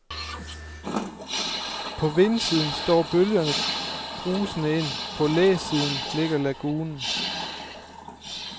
På vindsiden står bølgerne brusende ind, på læsiden ligger lagunen.